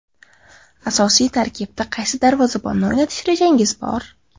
Asosiy tarkibda qaysi darvozabonni o‘ynatish rejangiz bor?